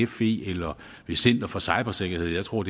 fe eller center for cybersikkerhed jeg tror